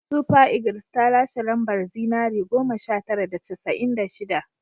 Super Eagles ta lashe lambar zinare goma sha tara da casa'in da shida